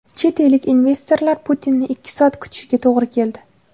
Chet ellik investorlar Putinni ikki soat kutishiga to‘g‘ri keldi.